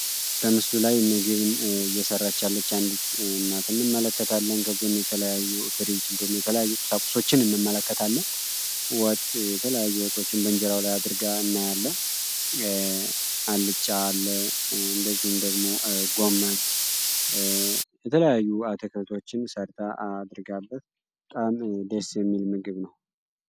በምስሉ ላይ ምግብ እየሠራች ያለች አንዲት እናት እንመለከታለን። በጎን የተለያዩ ፍሪጅ እንዲሁም የተለያዩ ቁሳቁሶችን እንመለከታለን። ወጥ የተለያዩ ወጦችን በእንጀራው ላይ አድርጋ እናያለን። አልጫ አለ እንደዚሁም ደግሞ ጎመን የተለያዩ አትክልቶችን ሰርታ አድርጋበት በጣም ደስ የሚል ምግብ ነው።